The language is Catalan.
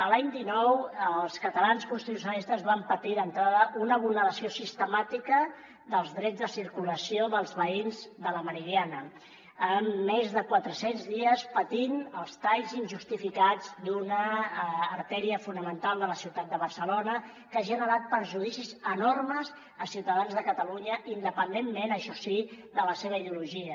l’any dinou els catalans constitucionalistes vam patir d’entrada una vulneració sistemàtica dels drets de circulació dels veïns de la meridiana amb més de quatre cents dies patint els talls injustificats d’una artèria fonamental de la ciutat de barcelona que ha generat perjudicis enormes a ciutadans de catalunya independentment això sí de la seva ideologia